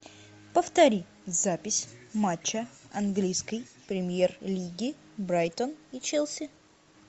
повтори запись матча английской премьер лиги брайтон и челси